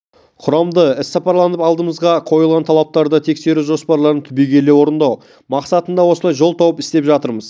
құрамды іссапарландырып алдымызға қойылған талаптарды тғксеру жоспарларын түбегейлі орындау мақсатында осылай жол тауып істеп жатырмыз